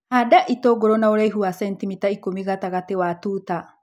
Handa itũngũrũ na ũraihu wa sentimita ikũmi gatagatĩ wa tuta.